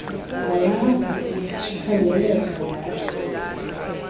nalapho kukhangeleka ngathi